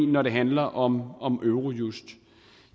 når det handler om eurojust